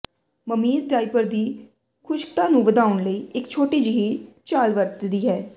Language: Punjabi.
ਮਮੀਜ਼ ਡਾਇਪਰ ਦੀ ਖੁਸ਼ਕਤਾ ਨੂੰ ਵਧਾਉਣ ਲਈ ਇੱਕ ਛੋਟੀ ਜਿਹੀ ਚਾਲ ਵਰਤਦੀ ਹੈ